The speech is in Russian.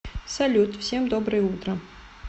салют всем доброе утро